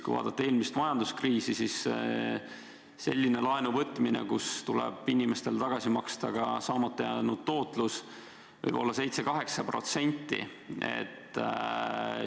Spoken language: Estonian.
Kui vaadata eelmist majanduskriisi, siis näeme, et selline laenu võtmine, kus tuleb inimestele tagasi maksta ka saamata jäänud tootlus, võib tähendada 7–8 protsendiga laenu.